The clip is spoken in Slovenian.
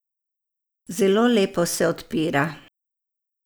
Zelo lepo se odpira.